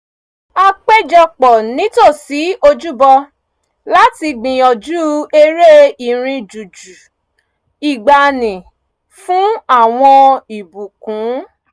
a péjọ pọ̀ nítòsí ojúbọ láti gbìyànjú eré irin jújù ìgbaanì fún àwọn ìbùkún